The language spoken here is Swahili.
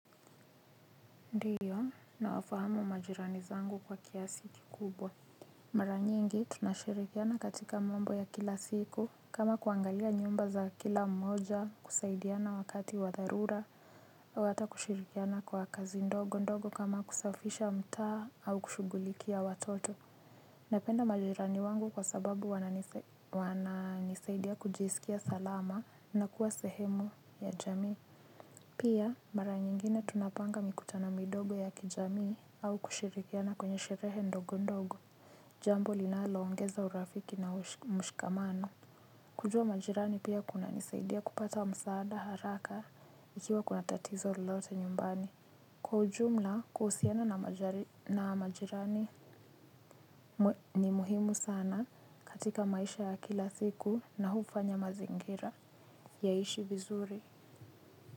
Ndio nawafahamu majirani zangu kwa kiasi kikubwa. Mara nyingi tunashirikiana katika mambo ya kila siku. Kama kuangalia nyumba za kila mmoja kusaidiana wakati wa dharura hata kushirikiana kwa kazi ndogo ndogo kama kusafisha mtaa au kushughulikia watoto. Napenda majirani wangu kwa sababu wananisaidia kujisikia salama na kuwa sehemu ya jamii. Pia mara nyingine tunapanga mikutano midogo ya kijamii au kushirikiana kwenye sherehe ndogo ndogo. Jambo linalo ongeza urafiki na mshikamano. Kujua majirani pia kuna nisaidia kupata msaada haraka ikiwa kuna tatizo lolote nyumbani. Kwa ujumla kuhusiana na majirani ni muhimu sana katika maisha ya kila siku na hufanya mazingira yaishi vizuri.